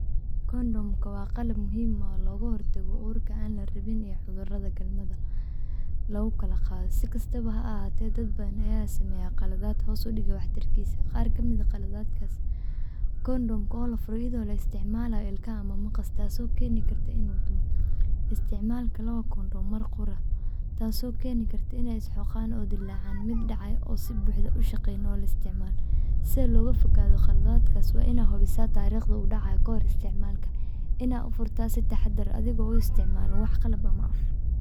Kondhom waa qalab muhiim ah oo looga hortago uurka aan la rabin iyo cudurrada galmada lagu kala qaado. Dad badan ayaa sameeya khaladaad hoos u dhiga waxtarkiisa. Kondhom la furo lana isticmaalayo ilkaha ama maqas, waxay keeni kartaa in uu dumo. Isticmaalka labo kondhom mar qura waxay keeni kartaa inay is-xoqaan oo dillaacaan, miid dhacdo oo si fudud loo isticmaalo. Si looga fogaado khaladaadkan, waa in la hubiyaa taariikhda uu dhacayo ka hor inta aan la furin, iyadoo si taxaddar leh loo isticmaalayo, adigoon isticmaalin wax qalab ah.